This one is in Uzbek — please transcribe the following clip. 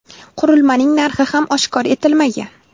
Qurilmaning narxi ham oshkor etilmagan.